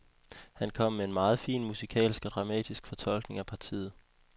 Han kom med en meget fin musikalsk og dramatisk fortolkning af partiet.